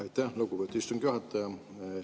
Aitäh, lugupeetud istungi juhataja!